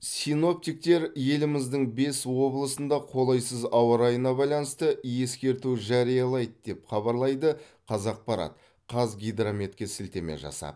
синоптиктер еліміздің бес облысында қолайсыз ауа райына байланысты ескерту жариялайды деп хабарлайды қазақпарат қазгидрометке сілтеме жасап